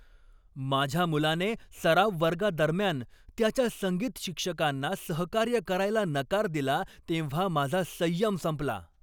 माझ्या मुलाने सराव वर्गादरम्यान त्याच्या संगीत शिक्षकांना सहकार्य करायला नकार दिला तेव्हा माझा संयम संपला.